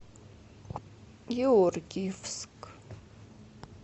георгиевск